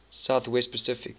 south west pacific